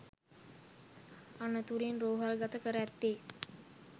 අනතුරින් රෝහල්ගත කර ඇත්තේ